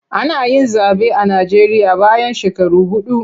Ana yin zaɓe a Najeriya bayan shekaru huɗu.